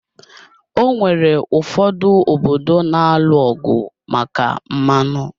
Onwere ụfọdụ obodo na-alụ ọgụ maka mmanụ